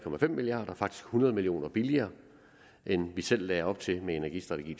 milliard kr faktisk hundrede million kroner billigere end vi selv lagde op til med energistrategi